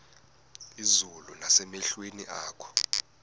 izulu nasemehlweni akho